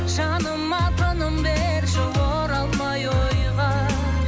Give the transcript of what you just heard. жаныма тыным берші оралмай ойға